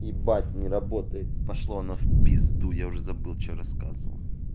ебать не работает пошло оно в пизду я уже забыл что рассказывал